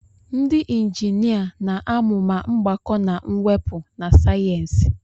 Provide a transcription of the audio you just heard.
ndị injinia na-amụ ma mgbakọ na mwepụ na sayensị